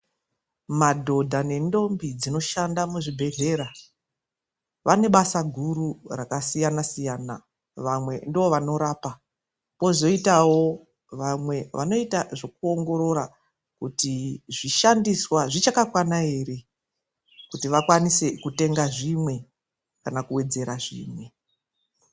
Madhodha nendombi dzinoshanda muzvibhedhlera vane basa guru rakasiyana-siyana. Vamwe ndivo vanorapa, kozoitawo vanoita zvekuongorora kuti zvishandiswa zvichakakwana ere, kuti vakwanise kutenga zvimwe kana kuwedzera zvimwe.